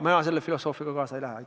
Mina selle filosoofiaga kaasa ei lähe.